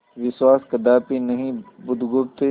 विश्वास कदापि नहीं बुधगुप्त